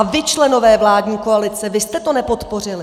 A vy, členové vládní koalice, vy jste to nepodpořili!